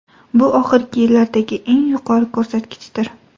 Bu oxirgi yillardagi eng yuqori ko‘rsatkichdir.